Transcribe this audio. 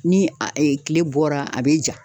Ni a e e kile bɔra a be ja